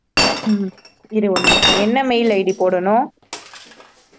உம் இரு ஒரு நிமிஷம், என்ன mail id போடணும்